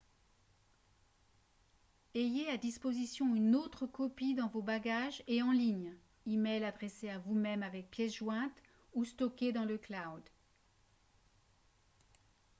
ayez à disposition une autre copie dans vos bagages et en ligne e-mail adressé à vous-même avec pièce jointe ou stocké dans le « cloud »